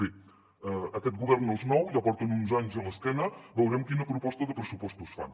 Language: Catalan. bé aquest govern no és nou ja porten uns anys a l’esquena veurem quina proposta de pressupostos fan